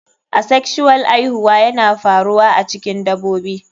Asexual aihuwa yana faruwa a cikin dabobi.